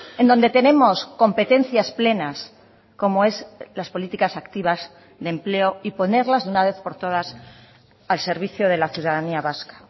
en donde tenemos competencias plenas como es las políticas activas de empleo y ponerlas de una vez por todas al servicio de la ciudadanía vasca